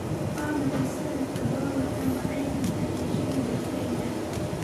Waa maxay sarifka doolarka Maraykanka iyo shilinka Kenya?